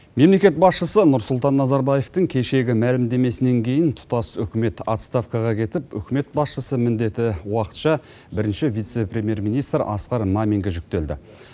мемлекет басшысы нұрсұлтан назарбаевтың кешегі мәлімдемесінен кейін тұтас үкімет отставкаға кетіп үкімет басшысы міндеті уақытша бірінші вице премьер министр асқар маминге жүктелді